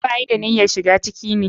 Ba ya da niyyarshiga ciki ne.